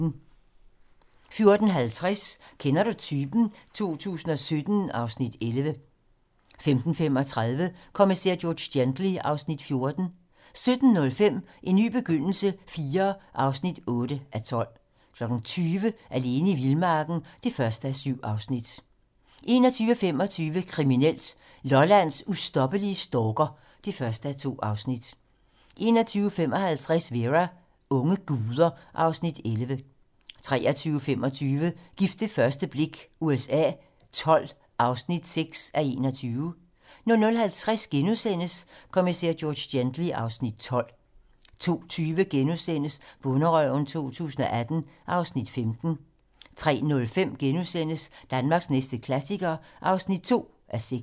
14:50: Kender du typen? 2017 (Afs. 11) 15:35: Kommissær George Gently (Afs. 14) 17:05: En ny begyndelse IV (8:12) 20:00: Alene i vildmarken (1:7) 21:25: Kriminelt: Lollands ustoppelige stalker (1:2) 21:55: Vera: Unge guder (Afs. 11) 23:25: Gift ved første blik USA XII (6:21) 00:50: Kommissær George Gently (Afs. 12)* 02:20: Bonderøven 2018 (Afs. 15)* 03:05: Danmarks næste klassiker (2:6)*